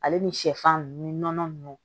Ale ni sɛfan nunnu ni nɔnɔ ninnu